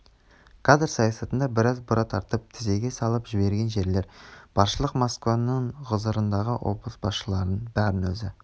кадр саясатында біраз бұра тартып тізеге салып жіберген жерлер баршылық москваның ғұзырындағы облыс басшыларының бәрін өзі